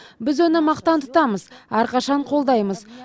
біз оны мақтан тұтамыз әрқашан қолдаймыз